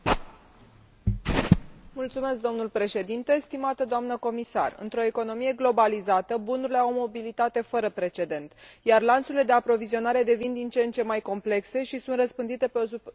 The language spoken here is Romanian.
Domnule președinte, doamnă comisar, într o economie globalizată, bunurile au o mobilitate fără precedent, iar lanțurile de aprovizionare devin din ce în ce mai complexe și sunt răspândite pe o suprafață geografică mult mai mare.